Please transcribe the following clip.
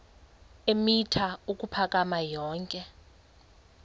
eemitha ukuphakama yonke